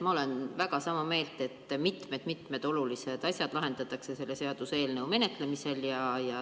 Ma olen väga sama meelt, et mitmeid-mitmeid olulisi asju lahendatakse selle seaduseelnõu menetlemisega.